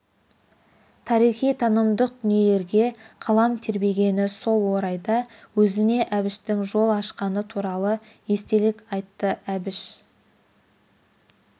тарихи танымдық дүниелеге қалам тербегені сол орайда өзіне әбіштің жол ашқаны туралы естелік айтты әбіш